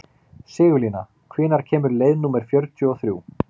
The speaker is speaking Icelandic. Sigurlína, hvenær kemur leið númer fjörutíu og þrjú?